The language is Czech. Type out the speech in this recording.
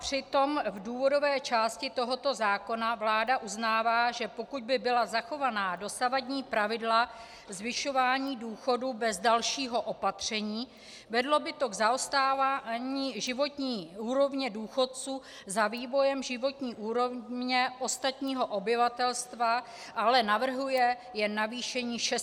Přitom v důvodové části tohoto zákona vláda uznává, že pokud by byla zachována dosavadní pravidla zvyšování důchodů bez dalšího opatření, vedlo by to k zaostávání životní úrovně důchodců za vývojem životní úrovně ostatního obyvatelstva - ale navrhuje jen navýšení 600 korun.